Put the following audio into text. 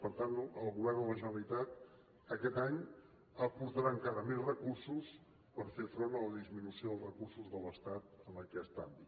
per tant el govern de la generalitat aquest any aportarà encara més recursos per fer front a la disminució dels recursos de l’estat en aquest àmbit